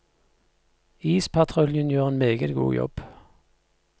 Ispatruljen gjør en meget god jobb.